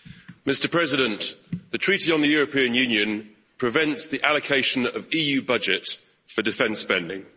Mr President, the Treaty on the European Union prevents the allocation of EU budget for defence spending.